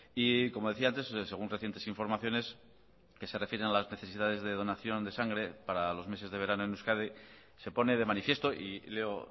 y como decía antes según recientes informaciones que se refieren a las necesidades de donación de sangre para los meses de verano en euskadi se pone de manifiesto y leo